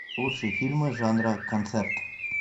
лучшие фильмы жанра концерт